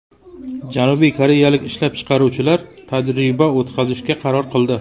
Janubiy Koreyalik ishlab chiqaruvchilar tajriba o‘tkazishga qaror qildi.